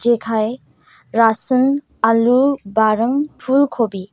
rasin alu baring pul kobi.